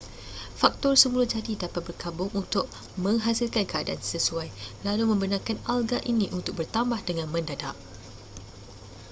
faktor semula jadi dapat bergabung untuk menghasilkan keadaan sesuai lalu membenarkan alga ini untuk bertambah dengan mendadak